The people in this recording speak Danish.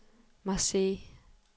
Marseilles